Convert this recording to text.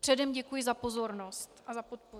Předem děkuji za pozornost a za podporu.